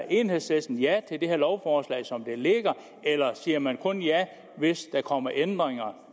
enhedslisten ja til det her lovforslag som det ligger eller siger man kun ja hvis der kommer ændringer